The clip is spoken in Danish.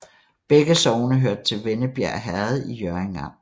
Begge sogne hørte til Vennebjerg Herred i Hjørring Amt